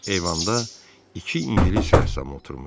Eyvanda iki ingilis rəssamı oturmuşdu.